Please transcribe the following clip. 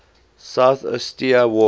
south ossetia war